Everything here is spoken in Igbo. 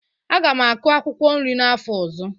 Aga m akụ akwụkwọ nri n'afọ ọzọ.